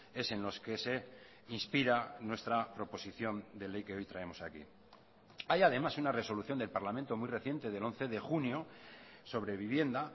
es en los que se inspira nuestra proposición de ley que hoy traemos aquí hay además una resolución del parlamento muy reciente del once de junio sobre vivienda